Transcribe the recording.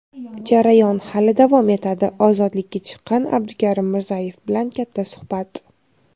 "Jarayon hali davom etadi" - ozodlikka chiqqan Abdukarim Mirzayev bilan katta suhbat.